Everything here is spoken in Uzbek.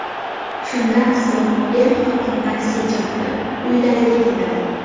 Shundan so‘ng er-xotin taksi chaqirib, uylariga ketadi.